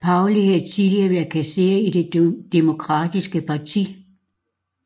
Pauley havde tidligere været kasserer i det Demokratiske parti